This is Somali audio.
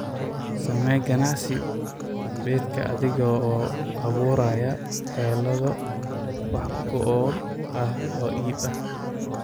Samee ganacsi beedka adiga oo abuuraya xeelado wax ku ool ah oo iib ah.